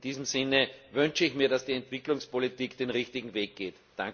In diesem Sinne wünsche ich mir, dass die Entwicklungspolitik den richtigen Weg geht.